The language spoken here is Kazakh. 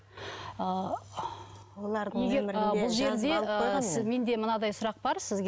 ы бұл жерде менде мынадай сұрақ бар сізге